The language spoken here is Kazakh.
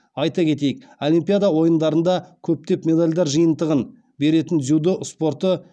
айта кетейік олимпиада ойындарында көптеп медальдер жиынтығын беретін дзюдо спорты